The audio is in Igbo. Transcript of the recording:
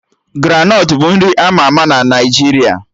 Granọt bụ nri ama ama na Naijiria